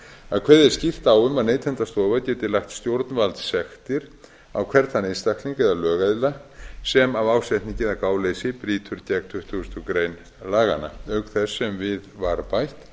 að kveðið er skýrt á um að neytendastofa geti lagt stjórnvaldssektir á hvern þann einstakling eða lögaðila sem af ásetningi eða gáleysi brýtur gegn tuttugustu greinar laganna auk þess sem við var bætt